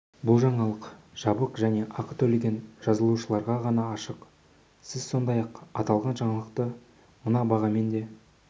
бұл жаңалық жабық және ақы төлеген жазылушыларға ғана ашық сіз сондай-ақ аталған жаңалықты мына бағамен де